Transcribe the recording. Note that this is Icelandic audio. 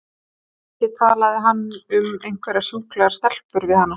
Ekki talaði hann um einhverjar sjúklegar stelpur við hana!